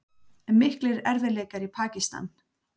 Miklir erfiðleikar í Pakistan